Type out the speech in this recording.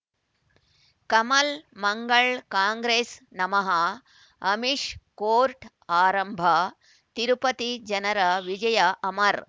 ಕಮಲ್ ಮಂಗಳ್ ಕಾಂಗ್ರೆಸ್ ನಮಃ ಅಮಿಷ್ ಕೋರ್ಟ್ ಆರಂಭ ತಿರುಪತಿ ಜನರ ವಿಜಯ ಅಮರ್